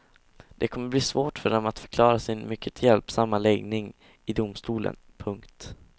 Det kommer att bli svårt för dem att förklara sin mycket hjälpsamma läggning i domstolen. punkt